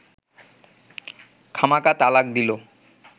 খামাকা তালাক দিল